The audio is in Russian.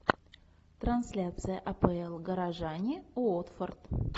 трансляция апл горожане уотфорд